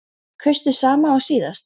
Heimir Már: Kaustu sama og síðast?